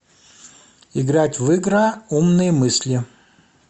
играть в игра умные мысли